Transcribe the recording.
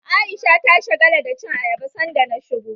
Aisha ta shagala da cin ayaba sanda na shigo.